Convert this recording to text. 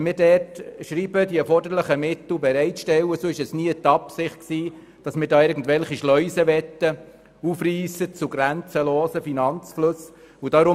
Wenn wir dort fordern, die erforderlichen Mittel bereit zu stellen, haben wir damit nie beabsichtigt, irgendwelche Schleusen für grenzenlose Finanzflüsse zu öffnen.